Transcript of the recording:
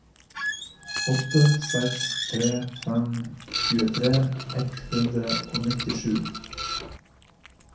åtte seks tre fem tjuetre ett hundre og nittisju